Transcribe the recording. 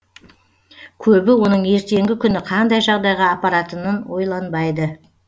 көбі оның ертеңгі күні қандай жағдайға апаратынын ойланбайды